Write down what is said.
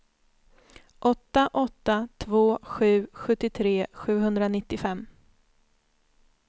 åtta åtta två sju sjuttiotre sjuhundranittiofem